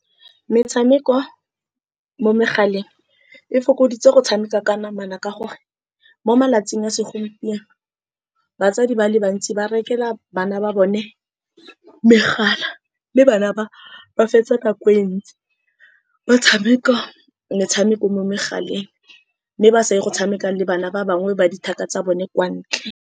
Metshameko mo megaleng e fokoditse go tshameka ka namana, ka gore mo malatsing a segompieno batsadi ba le bantsi ba rekela bana ba bone megala. Mme bana bao ba fetsa nako e ntsi ba tshameka metshameko mo megaleng, mme ba sa ye go tshameka le bana ba bangwe ba di thaka tsa bone kwa ntle.